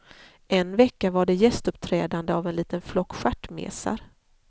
En vecka var det gästuppträdande av en liten flock stjärtmesar.